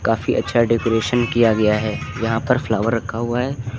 काफी अच्छा डेकोरेशन किया गया है यहां पर फ्लावर रखा हुआ है।